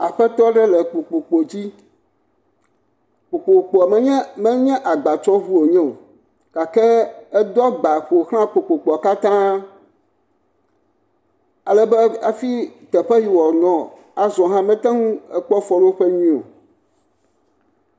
Aƒetɔ aɖe le kpokpo dzi. Kpokpokpoa menye agbatsɔŋu wonye o gake edo agba ƒo xlã kpokpokpoa katã ale be afi teƒe woanɔ azɔ̃ hã mete ŋu kpɔ afɔɖoƒe nyui o.